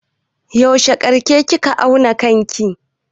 Yaushe karshe kika auna kanki?